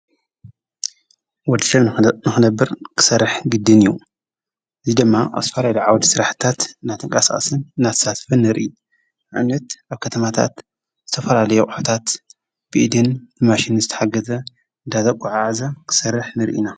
ወዲ ሰብ ንኾነብር ክሠርሕ ግድን እዩ ዙይ ደማ ኣብዝተፈላለዮ ዓወድ ሠራሕታት ናተንቃስኣስን ናተሳትፊን ንርኢ ንኣምነት ኣብ ከተማታት ዝተፈላለየ ኣቕሕታት ብኢድን ብማሽንን ዝተሓገዘ ዳተጓዓዓዘ ክሠርሕ ንርኢና።